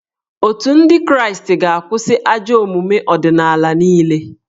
Otù ndị kraịstị ga-akwụsị ajọ omume ọdịnala niile